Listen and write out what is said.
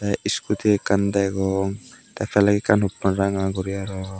te scooty ekkan degong te flag ekkan huppon ranga guri arow.